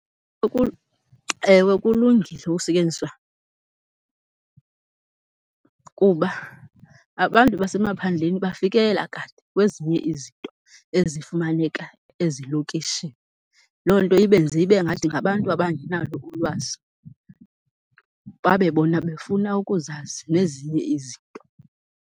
Ewe kulungile ukusetyenziswa kuba abantu basemaphandleni bafikelela kade kwezinye izinto ezifumaneka ezilokishini. Loo nto ibenze ibengathi ngabantu abangenalo ulwazi, babe bona befuna ukuzazi nezinye izinto.